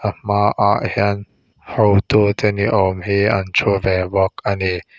a hma ah hian hotu te ni awm hi an thu ve bawk ani.